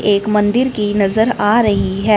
एक मंदिर की नजर आ रही है।